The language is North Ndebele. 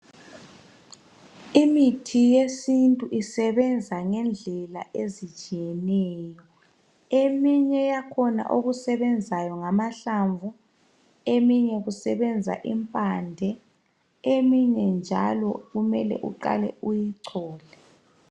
Imithi yesintu isebenza ngendlela ezitshiyeneyo. Eminye yakhona okusebenzayo ngamahlamvu. Eminye isebenza imphande, Iminye njalo kumele uqale uyicole.